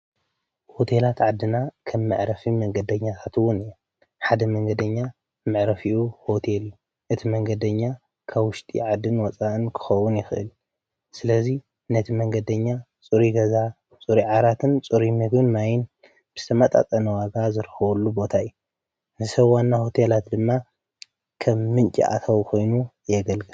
ሆቴላት ዓድና ከም መዕረፊ መንገደኛታትውን እየ ሓደ መንገደኛ ምዕረፊኡ ዎቴል እዩ እቲ መንገደኛ ካውሽጢ ዓድን ወፃን ክኸውን ይኽእል ስለዙይ ነቲ መንገደኛ ፁሪ ገዛ ጽሪ ዓራትን ፁሪ መግን ማይን ብስማጣጠነዋጋ ዘርኸወሉ ቦታይ ንሰዋና ሆቴላት ድማ ከም ምንጭ ኣታው ኾይኑ የገልገ።